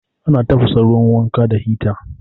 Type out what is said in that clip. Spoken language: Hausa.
Ana tafasa ruwan wanka da hita